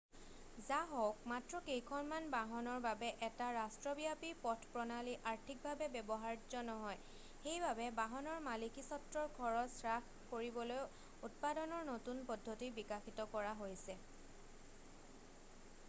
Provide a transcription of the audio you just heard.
যাহওক মাত্ৰ কেইখনমান বাহনৰ বাবে এটা ৰাষ্ট্ৰব্যাপী পথপ্ৰণালী আৰ্থিকভাবে ব্যৱহাৰ্য নহয় সেইবাবে বাহনৰ মালিকীস্বত্বৰ খৰছ হ্ৰাস কৰিবলৈ উৎপাদনৰ নতুন পদ্ধতি বিকাশিত কৰা হৈছে